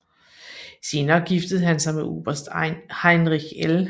Senere giftede hun sig med oberst Heinrich L